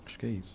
Acho que é isso.